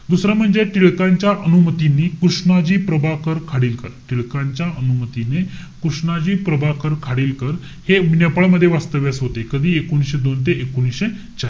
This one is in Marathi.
दुसरं म्हणजे टिळकांच्या अनुमतीनि कृष्णाजी प्रभाकर खाडिलकर. टिळकांच्या अनुमतीनि कृष्णाजी प्रभाकर खाडिलकर हे नेपाळमध्ये वास्तव्यास होते. कधी एकोणीशे दोन ते एकोणीशे,